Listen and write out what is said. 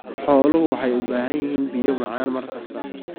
Xooluhu waxay u baahan yihiin biyo macaan mar kasta.